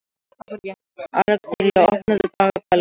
Axelía, opnaðu dagatalið mitt.